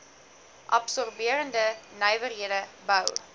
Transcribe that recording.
absorberende nywerhede bou